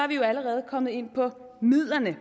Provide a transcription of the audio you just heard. vi jo allerede komme ind på midlerne